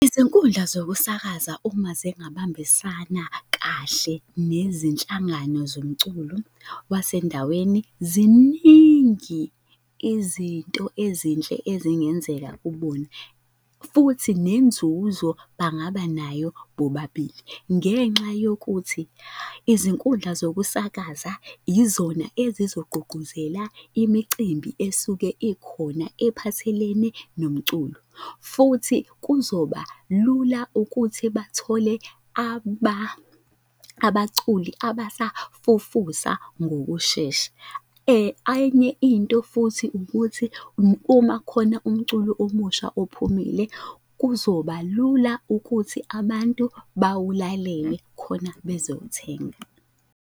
Izinkundla zokusakaza uma zingabambisana kahle nezinhlangano zomculo wasendaweni, ziningi izinto ezinhle ezingenzeka kubona, futhi nenzuzo bangaba nayo bobabili. Ngenxa yokuthi izinkundla zokusakaza yizona ezizogqugquzela imicimbi esuke ikhona ephathelene nomculo. Futhi kuzoba lula ukuthi bathole abaculi abasafufusa ngokushesha. Enye into futhi ukuthi uma khona umculo omusha ophumile, kuzoba lula ukuthi abantu bawulalele khona bezowuthenga.